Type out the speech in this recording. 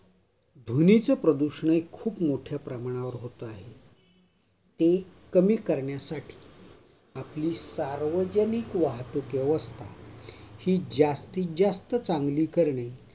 ध्वनिच प्रदूषण हे खूप मोठ्या प्रमाणावर होत आहे ते कमी करण्यासाठी आपली सार्वजनिक वाहतुक व्यवस्था ही जास्तीत जास्त चांगली करणे